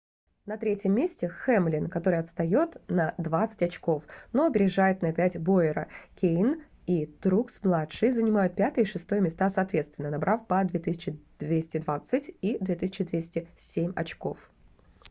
на 3-м месте хэмлин который отстает на двадцать очков но опережает на пять бойера кейн и трукс-младший занимают 5-е и 6-е места соответственно набрав по 2220 и 2207 очков